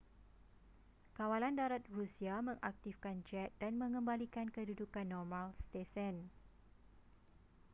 kawalan darat rusia mengaktifkan jet dan mengembalikan kedudukan normal stesen